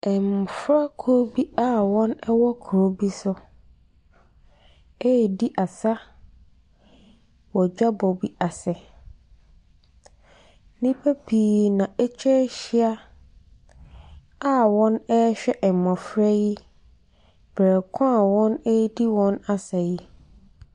Mmɔfra kuo bi wɔn wɔ kuro bi so ɛɛdi asa wɔ dwabɔ bi ase. Nnipa pii na atwa ahyia a wɔn ɛɛhwɛ mmɔfra yi brɛko wɔn ɛɛdi wɔn asa yi.